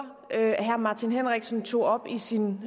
herre martin henriksen tog op i sin